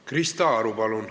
Krista Aru, palun!